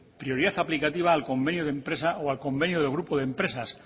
prioridad aplicativa al convenio de empresa o al convenio del grupo de empresas